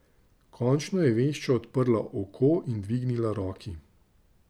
Končno je vešča odprla oko in dvignila roki.